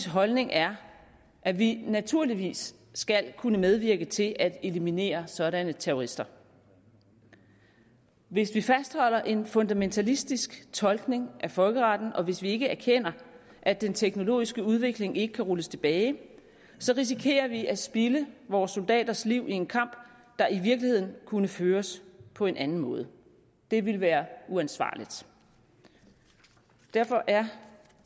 holdning er at vi naturligvis skal kunne medvirke til at eliminere sådanne terrorister hvis vi fastholder en fundamentalistisk tolkning af folkeretten og hvis vi ikke erkender at den teknologiske udvikling ikke kan rulles tilbage så risikerer vi at spilde vore soldaters liv i en kamp der i virkeligheden kunne føres på en anden måde det ville være uansvarligt derfor er